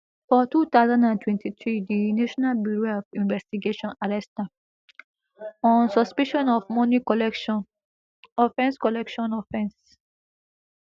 for two thousand and twenty-three di national bureau of investigation arrest am on suspicion of money collection offence collection offence